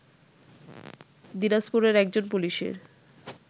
দিনাজপুরে একজন পুলিশের